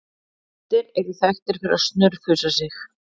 Kettir eru þekktir fyrir að snurfusa sig.